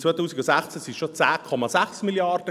Im Jahr 2016 waren es schon 10,6 Mrd. Franken.